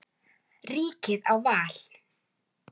Ríkið á val.